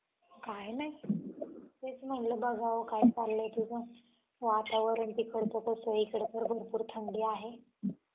काही नाही. तेच म्हणलं बघावं काय चाललंय तुझं. वातावरण तिकडचं कसं आहे. इकडं तर भरपूर थंडी आहे.